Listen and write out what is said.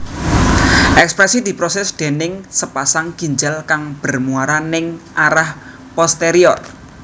Ekskresi diproses déning sapasang ginjal kang bermuara ning arah posterior